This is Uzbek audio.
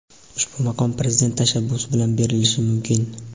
Ushbu maqom Prezident tashabbusi bilan berilishi mumkin.